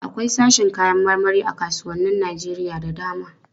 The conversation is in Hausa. Akwai sashin kayan marmari a kasuwannin Najeriya da dama.